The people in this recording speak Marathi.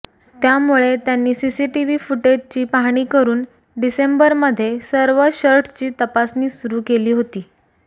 त्यामुळे त्यांनी सीसीटिव्ही फुटेजची पाहणी करुन डिसेंबरमध्ये सर्व शर्टची तपासणी सुरू केली होती